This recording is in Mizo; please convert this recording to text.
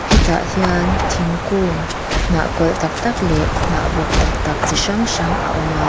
hetah hian thingkung hnah kawlh tak tak leh hnah buk tak tak chi hrang hrang a awm a.